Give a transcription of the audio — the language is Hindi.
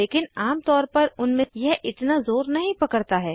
लेकिन आम तौर पर उन्हें यह इतना ज़ोर नहीं पकड़ता है